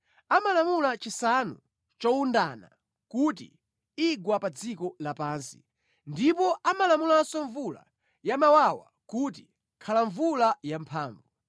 Amalamula chisanu chowundana kuti, ‘Igwa pa dziko lapansi,’ ndipo amalamulanso mvula yamawawa kuti, ‘Khala mvula yamphamvu.’